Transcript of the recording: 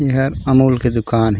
एहर अमूल के दुकान ए--